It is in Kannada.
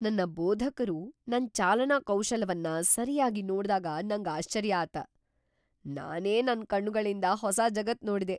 ನನ್ನ ಬೋಧಕರು ನನ್ ಚಾಲನಾ ಕೌಶಲವನ್ನ ಸರಿಯಾಗಿ ನೋಡ್ದಾಗ ನಂಗ್ ಆಶ್ವರ್ಯ ಆತ. ನಾನೆ ನನ್ನ ಕಣ್ಣುಗಳಿಂದ ಹೊಸ ಜಗತ್ ನೋಡಿದೆ.